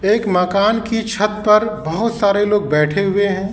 एक मकान की छत पर बहोत सारे लोग बैठे हुए हैं।